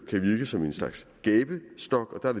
kan virke som en slags gabestok der er